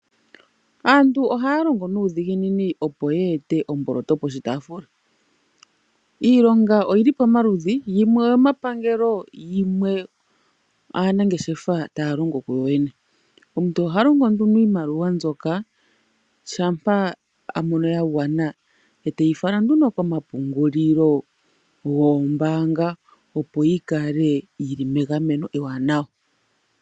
Aantu ohaya longo nuudhiginini opo yeete omboloto poshitaafula. Iilonga oyili pamaludhi yimwe oyomepangelo yimwe aanamgeshefa taya longo kuyoyene. Omuntu oha longo nduno iimaliwa mbyoka shampa a mono ya gwana eteyi fala nduno komapungulilo goombaanga opo yi kale yi li megameno ewanawa.